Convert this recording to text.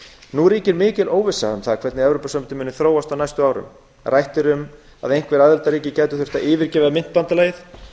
nú ríkir mikil óvissa um hvernig evrópusambandið muni þróast á næstu árum rætt er um að einhver aðildarríki gætu þurft að yfirgefa myntbandalagið